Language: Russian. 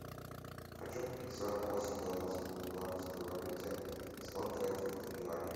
хочу купить сорок восемь в белорусской валюте сколько это в юанях